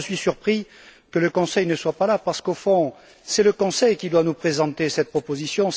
D'abord, je suis surpris que le Conseil ne soit pas là, parce qu'au fond, c'est le Conseil qui devait nous présenter cette proposition.